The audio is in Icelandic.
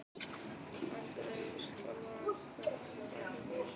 Andreu skjálfa aðeins þegar hún bælir niður flissið.